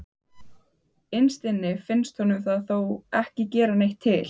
Innst inni finnst honum það þó ekki gera neitt til.